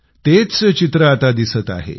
तेच चित्र आता दिसत आहे